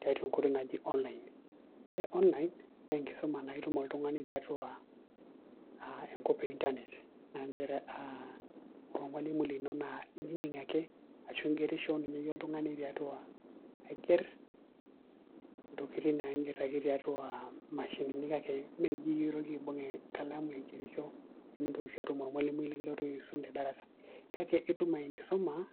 tiatua enkoitoi naji online ore online naa enkisuma naa itum oltungani tiatua enkop e internet aa nchere ore ormalimui lino naa inining' ake ashu igerisho ninye iyie oltungani. intokitin naa iger ake tiatua imashinini kake meyie oitoki aibung' enkalamu aigerisho, nimintoki siii atum ormalimui likilotu aisum tedarasa kake itum enkisuma.